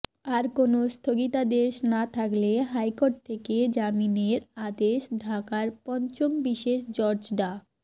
আর কোনো স্থগিতাদেশ না থাকলে হাইকোর্ট থেকে জামিনের আদেশ ঢাকার পঞ্চম বিশেষ জজ ডা